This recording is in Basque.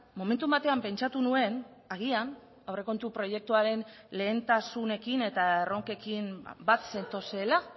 momentu batean pentsatu nuen agian aurrekontu proiektuaren lehentasunekin eta erronkekin bat zetozela